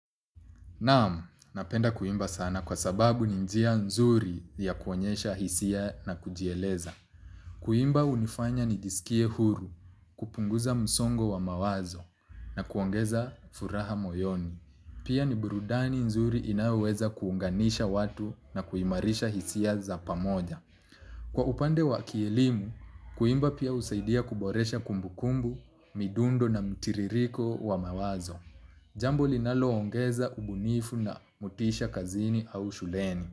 Naamu, napenda kuimba sana kwa sababu ni njia nzuri ya kuonyesha hisia na kujieleza. Kuimba unifanya ni jisikie huru, kupunguza msongo wa mawazo na kuongeza furaha moyoni. Pia ni burudani nzuri inaweza kuunganisha watu na kuimarisha hisia za pamoja. Kwa upande wa kielimu, kuimba pia usaidia kuboresha kumbukumbu, midundo na mtiririko wa mawazo. Jambu linalo ongeza ubunifu na motisha kazini au shuleni.